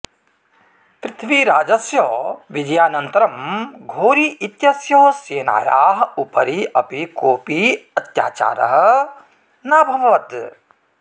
पृथ्वीराजस्य विजयानन्तरं घोरी इत्यस्य सेनायाः उपरि अपि कोऽपि हत्याचारः नाभवत्